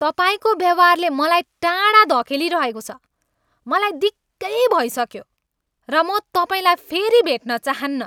तपाईँको व्यवहारले मलाई टाढा धकेलिरहेको छ। मलाई दिक्कै भइसकेँ र म तपाईँलाई फेरि भेट्न चाहन्न!